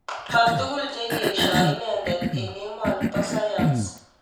Matugul cheyesyoo inendet eng emonii poo sayans